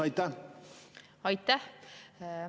Aitäh!